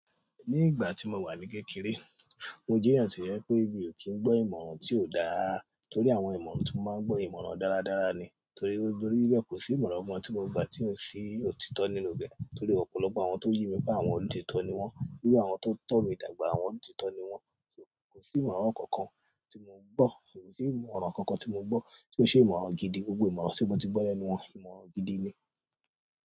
Ní ìgbà tí mo wà ní kékeré, mo jẹ́yàn to je wípé mí i ò kí n gbọ́ ìmọ̀ràn tí ó dá rara, torí àwọn ìmọ̀ràn tí mo máa ń gbọ́ àwọn ìmọ̀ràn dáradára ni. Torí be kò sí ìmọ̀ràn kankan tí mo gba tí ò sí òtítọ́ nínú rẹ̀. Torí ọ̀pọ̀lọpọ̀ àwọn tó yí mi pé àwọn olóòtítọ́ ni wọ́n, bí àwọn tó ń tọ̀ mí dàgbà, àwọn olóòtítọ́ ni wọ́n. Kò sí ìmọ̀ràn kankan tí mo gbọ́, kosi sì ìmọ̀ràn kankan tí mo gbọ́ tí ó ṣe ìmọ̀ràn gidi. Gbogbo ìmọ̀ràn tí mo ti gbọ́ lẹ́nu wọn, ìmọ̀ràn gidi ni.